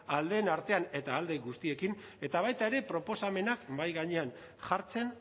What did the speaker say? ahal den artean eta ahal den guztiekin eta baita ere proposamenak mahai gainean jartzen